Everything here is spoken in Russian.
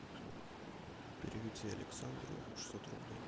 переведи александру шестьсот рублей